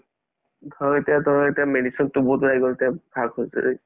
ধৰাহল এতিয়া ধৰাহল এতিয়া medicine তো বহুত ওলাই গল এতিয়া শাক-পাচলিত